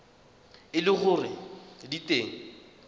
e le gore di teng